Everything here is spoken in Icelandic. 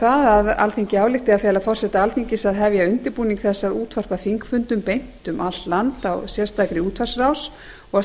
það að alþingi álykti að fela forseta alþingis að hefja undirbúning þess að útvarpa þingfundum beint um allt land á sérstakri útvarpsráðs og